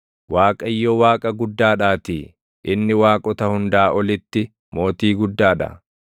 Waaqayyo Waaqa guddaadhaatii; inni waaqota hundaa olitti Mootii guddaa dha.